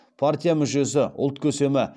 партия мүшесі ұлт көсемі